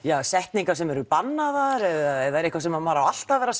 setningar sem eru bannaðar eða er eitthvað sem maður á alltaf að vera